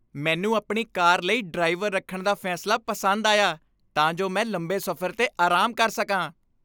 ਮੈਨੂੰ ਆਪਣੀ ਕਾਰ ਲਈ ਡਰਾਈਵਰ ਰੱਖਣ ਦਾ ਫੈਸਲਾ ਪਸੰਦ ਆਇਆ ਤਾਂ ਜੋ ਮੈਂ ਲੰਬੇ ਸਫ਼ਰ 'ਤੇ ਆਰਾਮ ਕਰ ਸਕਾਂ।